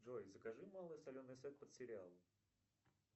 джой закажи малый соленый сет под сериал